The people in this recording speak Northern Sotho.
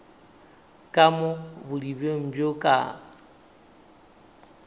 ka mo bodibeng bjo ka